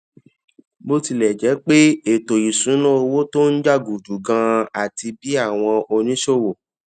bó tilè jé pé ètò ìṣúnná owó tó ń jà gùdù ganan àti bí àwọn oníṣòwò